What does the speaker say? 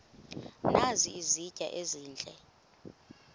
nazi izitya ezihle